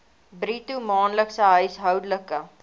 bruto maandelikse huishoudelike